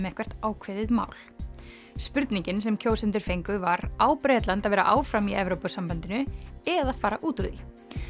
eitthvert ákveðið mál spurningin sem kjósendur fengu var á Bretland að vera áfram í Evrópusambandinu eða fara út úr því